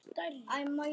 Halinn er miklu stærri.